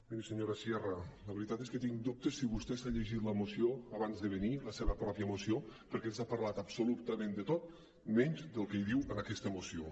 miri senyora sierra la veritat és que tinc dubtes sobre si vostè s’ha llegit la moció abans de venir la seva pròpia moció perquè ens ha parlat absolutament de tot menys del que diu en aquesta moció